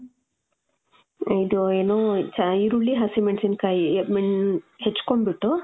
ಇದು, ಏನೂ, ಚ, ಈರುಳ್ಳಿ, ಹಸಿಮೆಣಸಿನಕಾಯಿ. ಮ್ಮ್ , ಹೆಚ್ಕೊಂಡ್ ಬಿಟ್ಟು,